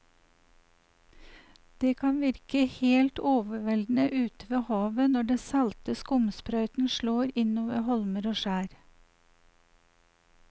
Det kan virke helt overveldende ute ved havet når den salte skumsprøyten slår innover holmer og skjær.